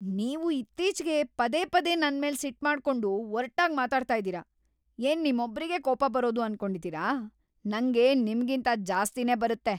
ನೀವು ಇತ್ತೀಚ್ಗೆ ಪದೇ ಪದೇ ನನ್ಮೇಲ್‌ ಸಿಟ್ಮಾಡ್ಕೊಂಡು, ಒರ್ಟಾಗ್‌ ಮಾತಾಡ್ತಾ ಇದೀರ. ಏನ್‌ ನಿಮ್ಮೊಬ್ರಿಗೆ ಕೋಪ ಬರೋದು ಅನ್ಕೊಂಡಿದೀರ?! ನಂಗೆ ನಿಮ್ಗಿಂತ ಜಾಸ್ತಿನೇ ಬರತ್ತೆ!